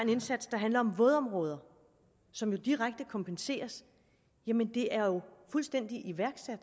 indsats der handler om vådområder som jo direkte kompenseres jamen det er jo fuldstændig iværksat